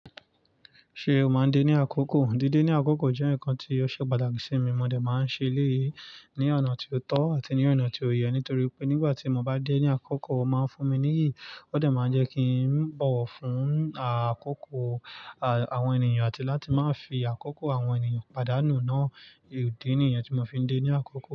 Ṣé o máa ń dé ní àkókò? Díde ní àkókò jẹ́ ǹnkan tí ó ṣe pàtàkì sí mi. Mo dé máa ń ṣe eleyii ní ọ̀nà tí ó tọ́ àti ní ọ̀nà tí ó yẹ nítorí wipé nígbà tí mo bá dé ní àkókò, ó máa ń fún mi níyìí. Ó de máa ń jẹ́ kí ń bọ̀wọ̀ fún àkókò àwọn ènìyàn àti láti má fi àkókò àwọn ènìyàn pàdánù náà. Idè nìyẹn tí mo fi ń dé ní àkókò.